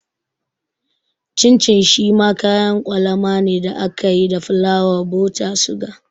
Cin cin shi ma kayan kwalama ne da ake yi da fulawa, buta, suga